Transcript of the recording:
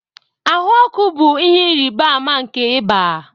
Ahụ ọkụ bụ ihe ịrịba ama nke ịba